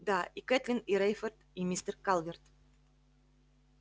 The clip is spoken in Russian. да и кэтлин и рейфорд и мистер калверт